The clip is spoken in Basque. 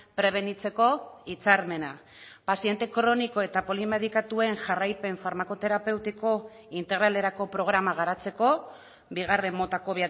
prebenitzeko hitzarmena paziente kroniko eta polimedikatuen jarraipen farmakoterapeutiko integralerako programa garatzeko bigarren motako